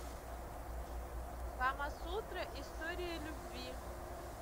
камасутра история любви